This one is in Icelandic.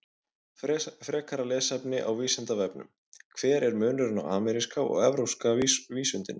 Frekara lesefni á Vísindavefnum: Hver er munurinn á ameríska og evrópska vísundinum?